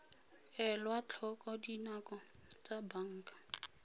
elwa tlhoko dinako tsa banka